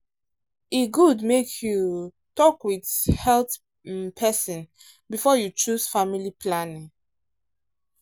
e good make you um talk with um health um person before you choose family planning.